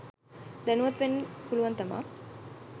දැනුවත් වෙන්න පුළුවන් තමා.